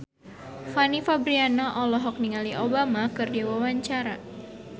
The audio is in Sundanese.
Fanny Fabriana olohok ningali Obama keur diwawancara